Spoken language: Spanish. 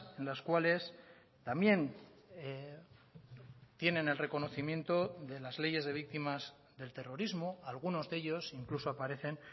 en las cuales también tienen el reconocimiento de las leyes de víctimas del terrorismo algunos de ellos incluso aparecen